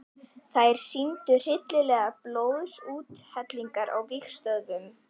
Þær sýndu hryllilegar blóðsúthellingar á vígstöðvunum.